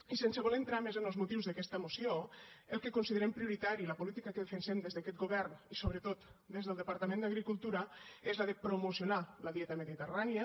i sense voler entrar més en els motius d’aquesta moció el que considerem prioritari la política que defensem des d’aquest govern i sobretot des del departament d’agricultura és la de promocionar la dieta mediterrània